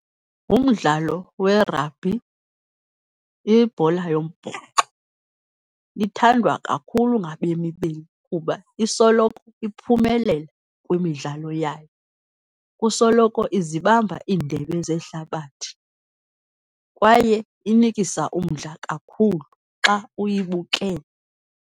Umdlalo we-rugby, ibhola yombhoxo, ithandwa kakhulu ngabemi beli kuba isoloko iphumelela kwimidlalo yayo. Kusoloko izibamba iindebe zehlabathi, kwaye inikisa umdla kakhulu xa uyibukele.